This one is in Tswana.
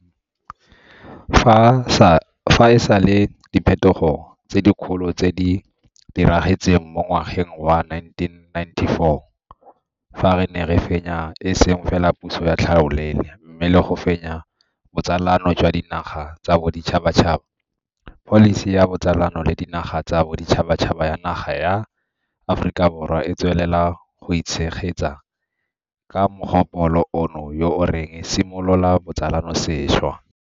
Fa e sale diphetogo tse dikgolo tse di diragetseng mo ngwageng wa 1994 fa re ne re fenya e seng fela puso ya tlhaolele, mme le go fenya botsalano jwa dinaga tsa boditšhabatšhaba, pholisi ya botsalano le dinaga tsa boditšhaba ya naga ya Aforika Borwa e tswelela go itshegetsa ka mogopolo ono yo o reng simolola botsalano sešwa.